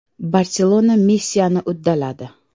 “Barselona” missiyani uddaladi.